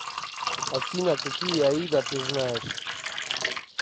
афина какие аида ты знаешь